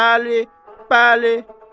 Bəli, bəli.